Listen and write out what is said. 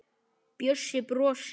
Bjössi brosir.